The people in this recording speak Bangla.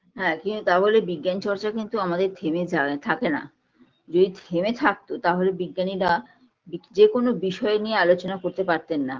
হ্যাঁ কিন্তু তা বলে বিজ্ঞান চর্চা কিন্তু আমাদের থেমে যায় থাকেনা যদি থেমে থাকতো তাহলে বিজ্ঞানীরা বিগ যেকোনো বিষয় নিয়ে আলোচনা করতে পারতেন না